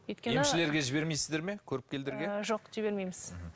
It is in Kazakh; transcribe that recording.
емшілерге жібермейсіздер ме көріпкелдерге жоқ жібермейміз